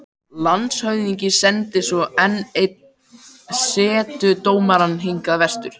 Landshöfðingi sendir svo enn einn setudómara hingað vestur.